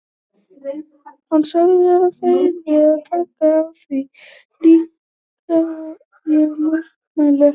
Hann sagði að það yrði að taka á því líka og ég mótmælti ekki.